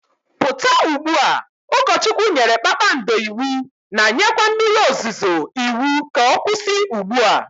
puta ugbua! Ukochwukwu nyere Kpakpando iwu na nyekwe mmiri ozuzuo iwu ka okwusi ugbua